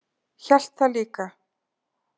Hélt það líka.